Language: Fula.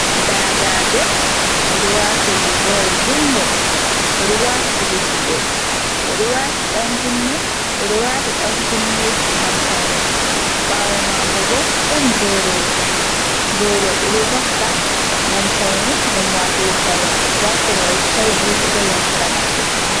Dadajo oɗo wati rigawol junngol, oɗo wati kuje juɗɗe, oɗo wati ɗan kunne, ɓeɗo waata dan kunne ngam pawne, ɓawo mako bo ɗon boroji, boro ɓeɗo vakka ngam pawne ngam watugo kare, nda korowal sikayi bulu ɗo dari ha sera mako.